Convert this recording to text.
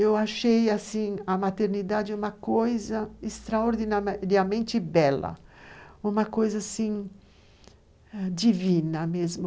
Eu achei assim a maternidade uma coisa extraordinariamente bela, uma coisa divina mesmo.